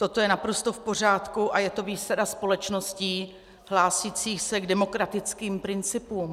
Toto je naprosto v pořádku a je to výsada společností hlásících se k demokratickým principům.